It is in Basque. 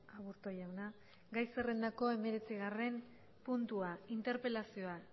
aburto jauna gai zerrendako hemeretzigarrena puntua interpelazioa